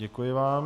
Děkuji vám.